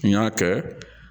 N y'a kɛ